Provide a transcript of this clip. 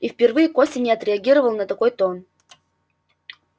и впервые костя не отреагировал на такой тон